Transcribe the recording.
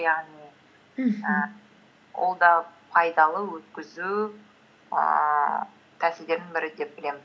яғни мхм і ол да пайдалы өткізу ііі тәсілдерінің бірі деп білемін